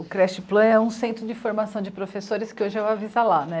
O Creche Plan é um centro de formação de professores que hoje é o Avisa Lá, né.